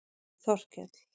Þorkell